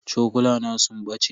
Cokulana sun bace.